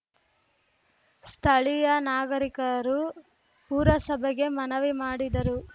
ಸ್ಥಳೀಯ ನಾಗರಿಕರು ಪುರಸಭೆಗೆ ಮನವಿ ಮಾಡಿದರು